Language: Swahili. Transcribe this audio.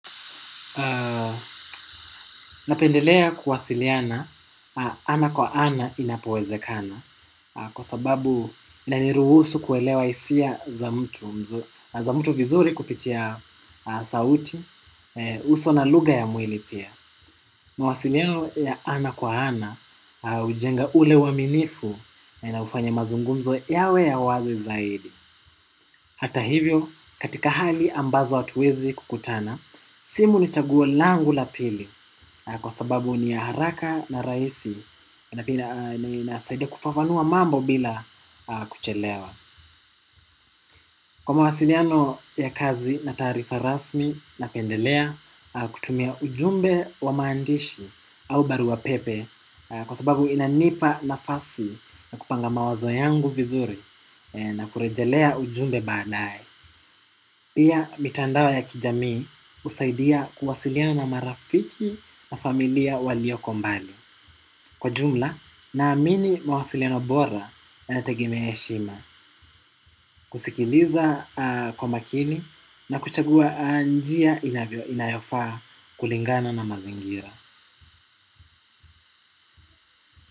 Napendelea kuwasiliana ana kwa ana inapowezekana kwa sababu inaniruhusu kuelewa hisia za mtu vizuri kupitia sauti, uso na lugha ya mwili pia. Mawasiliano ya ana kwa ana hujenga ule uaminifu na hufanya mazungumzo yawe ya wazi zaidi. Hata hivyo, katika hali ambazo hatuwezi kukutana, simu ni chaguo langu la pili kwa sababu ni ya haraka na rahisi na inasaida kufafanua mambo bila kuchelewa. Kwa mawasiliano ya kazi na taarifa rasmi napendelea kutumia ujumbe wa maandishi au barua pepe kwa sababu inanipa nafasi ya kupanga mawazo yangu vizuri na kurejelea ujumbe baadaye. Pia mitandao ya kijamii husaidia kuwasiliana na marafiki na familia walioko mbali. Kwa jumla naamini mawasiliano bora yanategemea heshima. Kusikiliza kwa makini na kuchagua njia inayofaa kulingana na mazingira.